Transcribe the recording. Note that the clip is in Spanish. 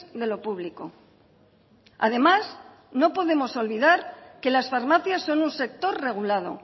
de lo público además no podemos olvidar que las farmacias son un sector regulado